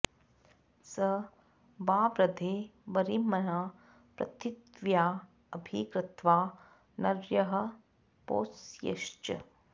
स वा॑वृधे॒ वरि॑म॒न्ना पृ॑थि॒व्या अ॒भि क्रत्वा॒ नर्यः॒ पौंस्यै॑श्च